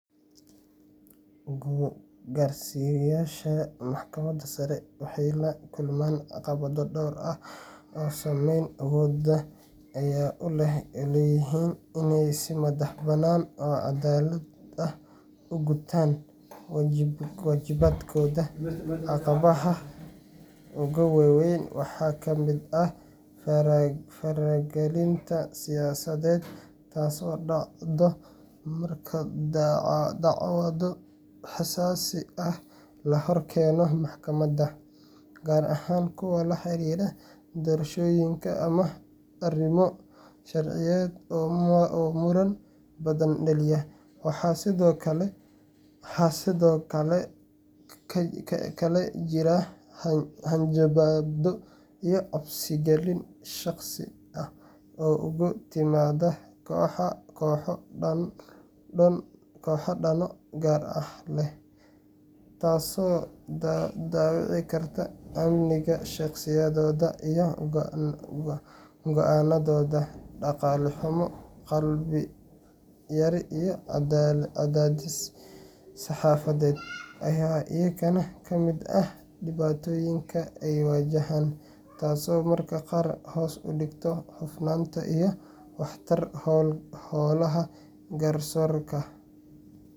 Garsiyayasha waxeey lakulmaan caqabada badan, inaay si cadalad ugutaan wajibaatka, waxaa kamid ah fara galinta siyasada, la hor keeno maxkamada, kuwa laxariira arimo sharciyeed, waaxa kale oo jira hanjabaad ugu timaada kooxo dano gaar leh, taas oo dawici garta amni iyo cadaadis, ayaa kamid ah, taas oo hoos udigto hufnaanta garsiorka.